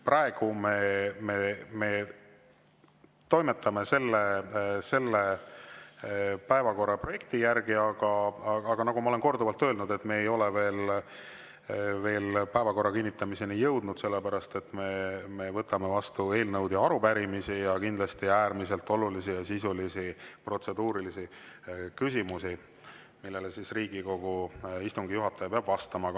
Praegu me toimetame selle päevakorraprojekti järgi, aga nagu ma olen korduvalt öelnud, me ei ole veel päevakorra kinnitamiseni jõudnud, sellepärast et me võtame vastu eelnõusid ja arupärimisi ning kindlasti äärmiselt olulisi ja sisulisi protseduurilisi küsimusi, millele Riigikogu istungi juhataja peab vastama.